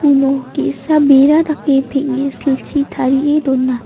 uno ge·sa bera dake peng·e silchi tarie dona.